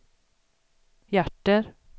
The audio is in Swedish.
hjärter